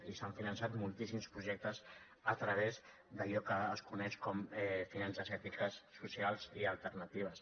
i s’han finançat moltíssims projectes a través d’allò que es coneix com a finances ètiques socials i alternatives